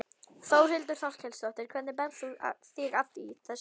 Þórhildur Þorkelsdóttir: Hvernig berð þú þig að í þessu?